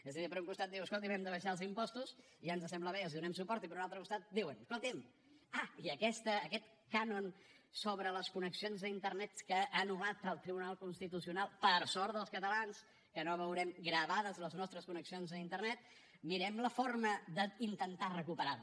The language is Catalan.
és a dir per un costat diu escolti’m hem d’abaixar els impostos i ja ens sembla bé i els donem suport i per un altre costat diuen escolti’m ah i aquest cànon sobre les connexions a internet que ha anul·lat el tribunal constitucional per sort dels catalans que no veurem gravades les nostres connexions a internet mirem la forma d’intentar recuperar lo